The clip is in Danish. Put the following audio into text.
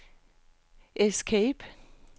escape